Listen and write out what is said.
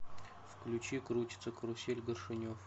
включи крутится карусель горшенев